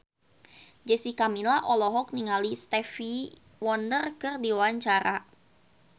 Jessica Milla olohok ningali Stevie Wonder keur diwawancara